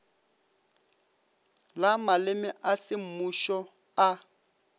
la maleme a semmušo a